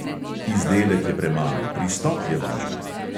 Izdelek je premalo, pristop je važen!